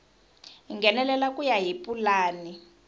nghenelela ku ya hi pulani